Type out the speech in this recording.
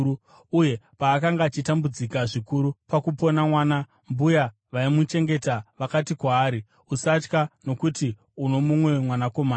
Uye paakanga achitambudzika zvikuru pakupona mwana, mbuya vaimuchengeta vakati kwaari, “Usatya, nokuti uno mumwe mwanakomana.”